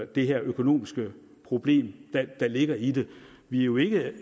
det økonomiske problem der ligger i det vi er jo ikke